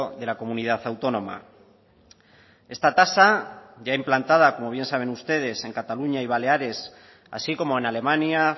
de la comunidad autónoma esta tasa ya implantada como bien saben ustedes en cataluña y baleares así como en alemania